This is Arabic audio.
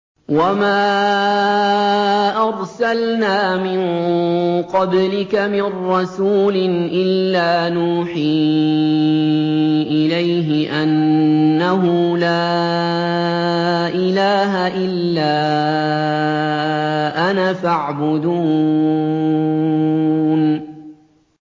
وَمَا أَرْسَلْنَا مِن قَبْلِكَ مِن رَّسُولٍ إِلَّا نُوحِي إِلَيْهِ أَنَّهُ لَا إِلَٰهَ إِلَّا أَنَا فَاعْبُدُونِ